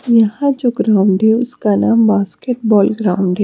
यहां जो ग्राउंड है उसका नाम बास्केट बॉल ग्राउंड है।